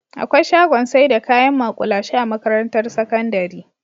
Akwai shagon saida kayan ma'kulashe a makarantar sakandari